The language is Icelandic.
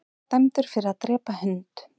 Dæmdur fyrir að drepa hund